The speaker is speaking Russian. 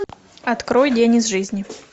открой день из жизни